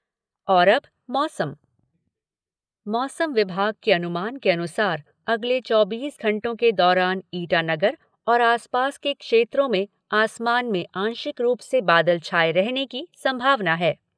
और अब मौसम मौसम विभाग के अनुमान के अनुसार अगले चौबीस घंटों के दौरान ईटानगर और आसपास के क्षेत्रों में आसमान में आंशिक रूप से बादल छाए रहने की संभावना है।